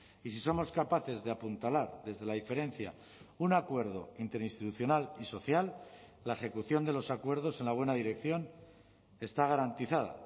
y si somos capaces de apuntalar desde la diferencia un acuerdo interinstitucional y social la ejecución de los acuerdos en la buena dirección está garantizada